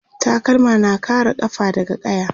takalma na kare kafa daga ƙaya